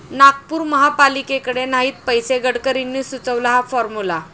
नागपूर महापालिकेकडे नाहीत पैसे, गडकरींनी सुचवला हा फॉर्मुला